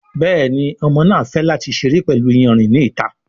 Béèni Ọmọ náa fè láti seré pẹlú iyanrìn ní ìta.